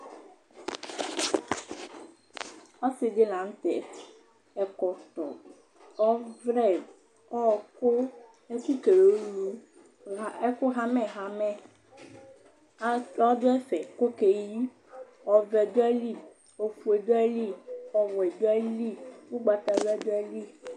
Ɔsiɖi ɖi la ŋtɛ Ɛkɔtɔ, ɔvlɛ, ɔku, ɛku hamɛ hamɛ ɔɖu ɛfɛ kʋ ɔkeyi Ɔvɛ ɖu aɣili, ɔfʋe ɖu aɣili, ɔwɛ ɖu aɣili, ugbatawla ɖu aɣili